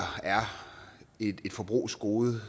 er et forbrugsgode